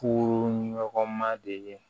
Ko ɲɔgɔn ma de